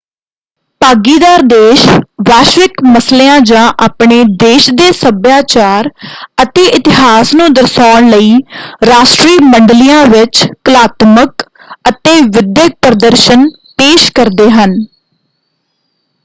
ਭਾਗੀਦਾਰ ਦੇਸ਼ ਵੈਸ਼ਵਿਕ ਮਸਲਿਆਂ ਜਾਂ ਆਪਣੇ ਦੇਸ਼ ਦੇ ਸੱਭਿਆਚਾਰ ਅਤੇ ਇਤਿਹਾਸ ਨੂੰ ਦਰਸਾਉਣ ਲਈ ਰਾਸ਼ਟਰੀ ਮੰਡਲੀਆਂ ਵਿੱਚ ਕਲਾਤਮਕ ਅਤੇ ਵਿਦਿਅਕ ਪ੍ਰਦਰਸ਼ਨ ਪੇਸ਼ ਕਰਦੇ ਹਨ।